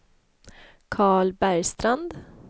Carl Bergstrand